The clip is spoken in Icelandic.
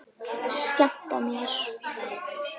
Skemmta mér?